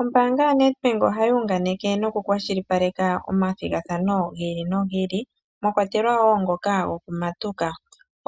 Ombaanga yoNetbank ohayi hunganeke noku kwashilipaleka omathigathano gi ili nogi ili mwakwatelwa wo ngoka gokumatuka.